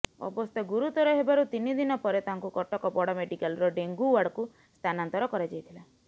ଅବସ୍ଥା ଗୁରୁତର ହେବାରୁ ତିିନି ଦିନ ପରେ ତାଙ୍କୁ କଟକ ବଡ଼ ମେଡିକାଲର ଡେଙ୍ଗୁ ଓ୍ବାର୍ଡ଼କୁ ସ୍ଥାନାନ୍ତର କରାଯାଇଥିଲା